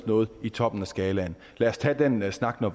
noget i toppen af skalaen lad os tage den snak når